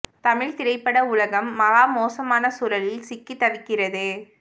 தமிழ் திரைப்பட உலகம் மகா மோசமான சூழலில் சிக்கித் தவிக்கிறது